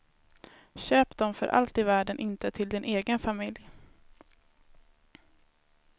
Köp dem för allt i världen inte till din egen familj.